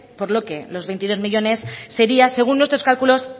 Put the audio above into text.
por lo que los veintidós millónes sería según nuestros cálculos